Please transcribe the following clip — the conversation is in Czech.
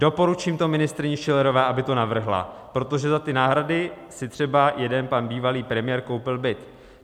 Doporučím to ministryni Schillerové, aby to navrhla, protože za ty náhrady si třeba jeden pan bývalý premiér koupil byt.